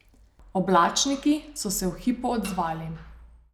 Oblačniki so se v hipu odzvali.